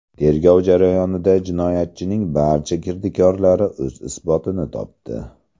Tergov jarayonida jinoyatchining barcha kirdikorlari o‘z isbotini topdi.